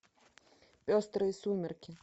пестрые сумерки